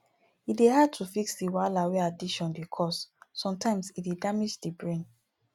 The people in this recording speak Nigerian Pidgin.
e dey hard to fix di wahala wey addiction dey cause sometimes e dey damage di brain